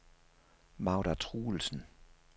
Magda Truelsen